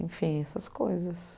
Enfim, essas coisas.